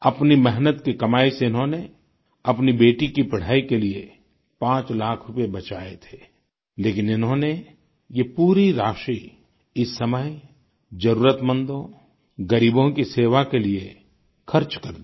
अपनी मेहनत की कमाई से इन्होंने अपनी बेटी की पढ़ाई के लिए पांच लाख रूपये बचाए थे लेकिन इन्होंने ये पूरी राशि इस समय जरुरतमंदों ग़रीबों की सेवा के लिए खर्च कर दी